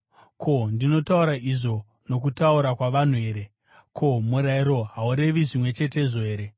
Ko, ndinotaura izvo nokutaura kwavanhu here? Ko, murayiro haurevi zvimwe chetezvo here?